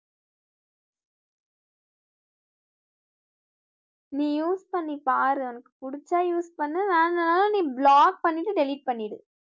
நீ use பன்னி பாரு எனக்கு புடிச்சா use பன்னு வேணாம் நீ block பன்னிட்டு delete பன்னிடு